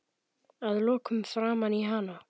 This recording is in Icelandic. Að lokum framan í hana.